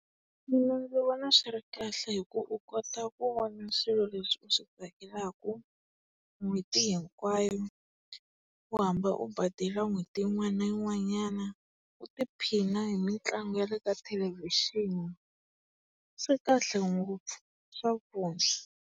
Mina ndzi vona swi ri kahle hi ku u kota ku vona swilo leswi u swi tsakelaka n'hweti hinkwayo, u hamba u badela n'hweti yin'wana na yin'wanyana, u tiphina hi mitlangu ya le ka thelevixini. Swi kahle ngopfu, swa .